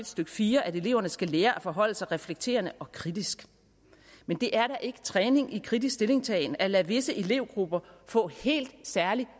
stykke fire at eleverne skal lære at forholde sig reflekterende og kritisk men det er da ikke træning i kritisk stillingtagen at lade visse elevgrupper få en helt særlig